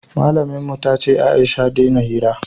malamin mu ta ce Aisha dena hira